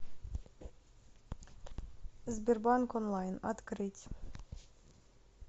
сбербанк онлайн открыть